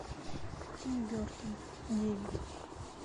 тим бертон девять